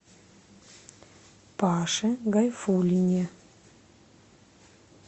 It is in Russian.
паше гайфуллине